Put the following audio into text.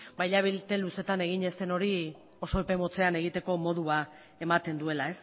hilabete luzeetan egin ez den hori oso epe motzean egiteko modua ematen duela